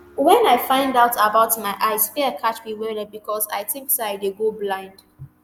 when i find out about my eyes fear catch me wellwell becos um i think say i dey go blind